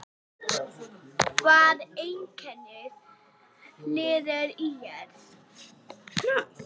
Hvað einkennir lið ÍR?